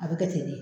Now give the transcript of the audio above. A bɛ kɛ ten de